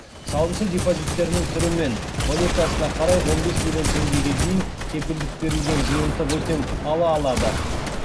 салымшы депозиттерінің түрі мен валютасына қарай он бес миллион теңгеге дейін кепілдік берілген жиынтық өтем ала алады